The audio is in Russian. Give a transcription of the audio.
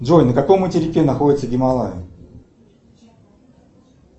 джой на каком материке находятся гималаи